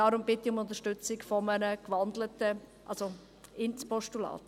Deswegen bitte ich um Unterstützung des Postulats.